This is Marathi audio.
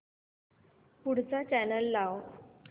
पुढचा चॅनल लाव